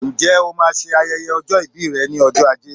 Ǹjẹ́ o máa ṣe ayẹyẹ ọjọ́ ìbí rẹ ní ọjọ́ ajé